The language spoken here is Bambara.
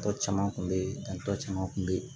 Tɔ caman kun bɛ ye an tɔ caman kun be yen